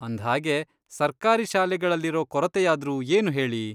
ಅಂದ್ಹಾಗೆ, ಸರ್ಕಾರಿ ಶಾಲೆಗಳಲ್ಲಿರೋ ಕೊರತೆಯಾದ್ರೂ ಏನು ಹೇಳಿ?